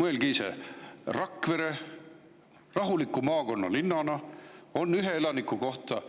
Mõelge ise: Rakveres, rahulikus maakonnalinnas, on ühe elaniku kohta